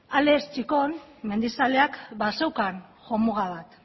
alex txikon mendizaleak bazeukan jomuga bat